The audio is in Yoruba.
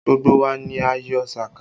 Gbogbo wa ni a yọ sàká